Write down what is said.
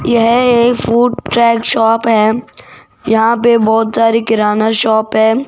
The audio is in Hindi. यह एक फूड ट्रैक शॉप है यहां पे बहोत सारी किराना शॉप है।